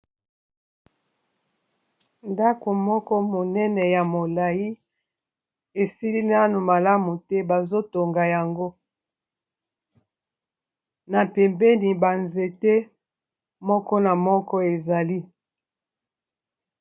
Ndako moko monene ya molayi esili nano malamu te bazo tonga yango na pembeni ba nzete moko na moko ezali.